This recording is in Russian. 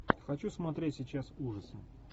хочу смотреть сейчас ужасы